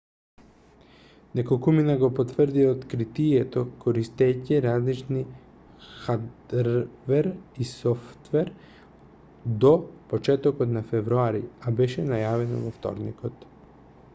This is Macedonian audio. неколкумина го потврдија откритието користејќи различен хадрвер и софтвер до почетокот на февруари а беше најавено во вторникот